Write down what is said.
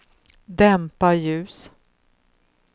dämpa ljus